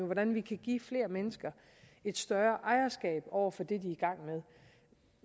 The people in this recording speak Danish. hvordan vi kan give flere mennesker et større ejerskab over for det de